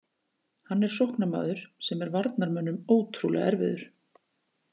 Hann er sóknarmaður sem er varnarmönnum ótrúlega erfiður.